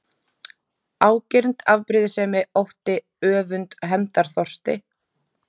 Ágirnd, afbrýðisemi, ótti, öfund, hefndarþorsti?